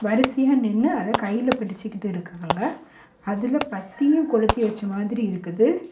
வரிசையா நின்னு அத கையில புடிச்சுகிட்டு இருக்காங்க அதுல பத்தியு கொளுத்தி வச்ச மாதிரி இருக்குது.